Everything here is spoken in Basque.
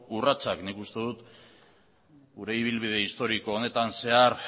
urratsak nik uste dut gure ibilbide historiko honetan zehar